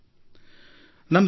ನಿಮಗೂ ಈ ಅನುಭವಿಸಿರಬಹುದು